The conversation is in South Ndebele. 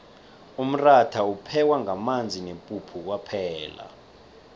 umratha uphekwa ngamanzi nepuphu kwaphela